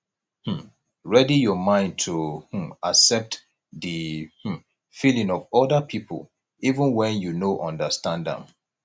um ready your mind to um accept di um feelings of oda pipo even when you no understand am